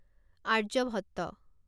Aryabhatta